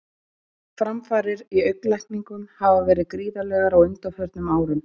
Framfarir í augnlækningum hafa verið gríðarlegar á undanförnum árum.